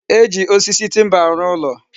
E ji osisi timba arụ ụlo